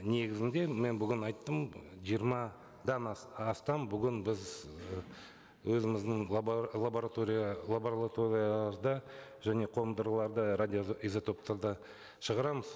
негізінде мен бүгін айттым жиырмадан астам бүгін біз ы өзіміздің лаборатория және қондырылғыларда радио изотоптарды шығарамыз